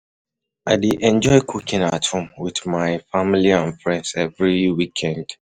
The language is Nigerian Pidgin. I dey enjoy cooking at home with my family and friends every weekend.